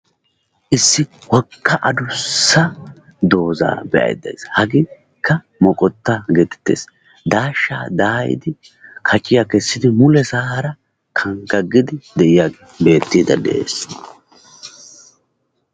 Issi wogga addussa dooza be'aydda deays. Hagekka moqotta getettees. daashshaa daayidi, kaciya kessidi mulesaara kanggagidi de'iyaagee beettiidde de'ees.